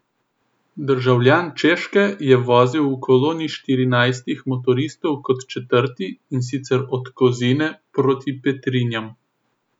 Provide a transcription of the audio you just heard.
Državljan Češke je vozil v koloni štirinajstih motoristov kot četrti , in sicer od Kozine proti Petrinjam.